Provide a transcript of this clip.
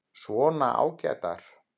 Svona ágætar.